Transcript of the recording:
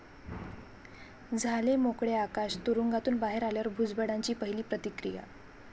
झाले मोकळे आकाश, तुरुंगातून बाहेर आल्यावर भुजबळांची पहिली प्रतिक्रिया